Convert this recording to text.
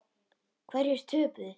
Hverjir töpuðu?